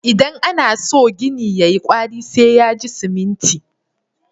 Idan ana so gini ya yi ƙwari, sai ya ji siminti.